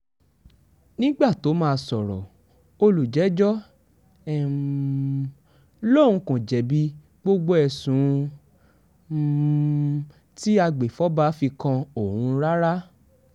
nígbà tóo máa sọ̀rọ̀ olùjẹ́jọ́ um lòun kò jẹ̀bi gbogbo ẹ̀sùn um tí agbèfọ́ba fi kan òun rárá